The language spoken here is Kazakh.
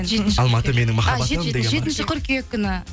алматы менің махаббатым деген ба жетінші қыркүйек күні